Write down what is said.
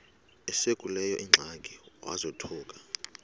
esekuleyo ingxaki wazothuka